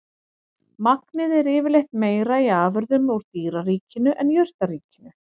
Magnið er yfirleitt meira í afurðum úr dýraríkinu en jurtaríkinu.